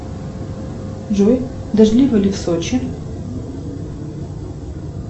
джой дождливо ли в сочи